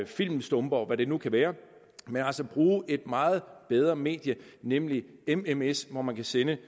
filmstumper og hvad det nu kan være altså bruge et meget bedre medie nemlig mms hvor man kan sende